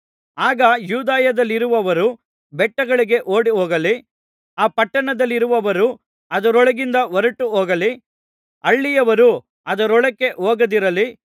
ಆಗ ಯೂದಾಯದಲ್ಲಿರುವವರು ಬೆಟ್ಟಗಳಿಗೆ ಓಡಿಹೋಗಲಿ ಆ ಪಟ್ಟಣದಲ್ಲಿರುವವರು ಅದರೊಳಗಿಂದ ಹೊರಟುಹೋಗಲಿ ಹಳ್ಳಿಯವರು ಅದರೊಳಕ್ಕೆ ಹೋಗದಿರಲಿ